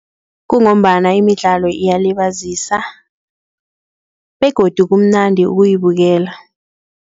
Kungombana imidlalo iyalibazisa begodu kumnandi ukuyibukela.